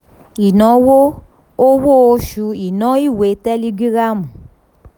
ìnáwó owó oṣù iná ìwé tẹ́lígírámù.